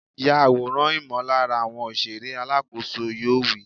Ya àwòrán ìmọ̀lára àwọn òṣèré! Alákòóso yoo wí.